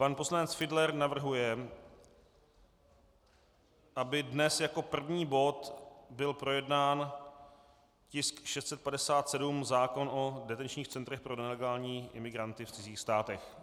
Pan poslanec Fiedler navrhuje, aby dnes jako první bod byl projednán tisk 657, zákon o detenčních centrech pro nelegální imigranty v cizích státech.